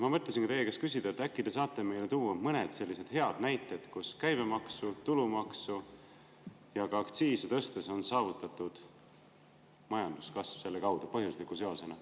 Ma mõtlesingi teie käest küsida, et äkki te saate meile tuua mõned head näited selle kohta, kuidas käibemaksu, tulumaksu ja ka aktsiiside tõstmise abil on saavutatud majanduskasv, põhjusliku seosena.